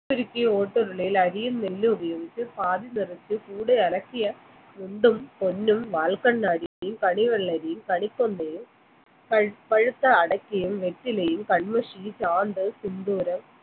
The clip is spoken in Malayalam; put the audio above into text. ഉരുളയിൽ അരിയും നെല്ലും ഉപയോഗിച്ച് പാതി നിറച്ച കൂടെ അലക്കിയ പൊന്നും മുണ്ടും വാൽക്കണ്ണാടിയും കളിവെണ്ണരിയും കണിക്കൊന്നയും പഴ പഴുത്ത അടക്ക വെറ്റിലയും കണ്മഷിയും ചാന്ത് സിന്ദൂരം